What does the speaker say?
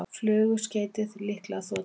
Flugskeytið líklega þota